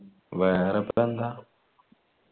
വേറെയിപ്പോയെന്താ